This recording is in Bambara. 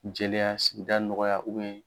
Jeliya danɔgɔya